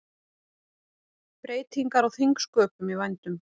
Breytingar á þingsköpum í vændum